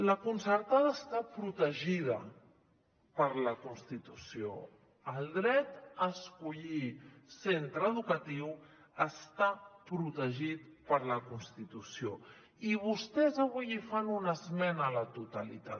la concertada està protegida per la constitució el dret a escollir centre educatiu està protegit per la constitució i vostès avui hi fan una esmena a la totalitat